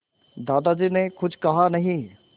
दादाजी ने कुछ कहा नहीं